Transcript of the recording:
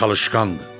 Çalışqandır.